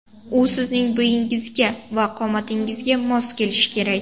U sizning bo‘yingizga va qomatingizga mos kelishi kerak.